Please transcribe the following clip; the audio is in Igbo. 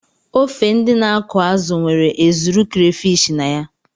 Ofe ndị na-akụ azụ nwere ezuru crayfish na ya.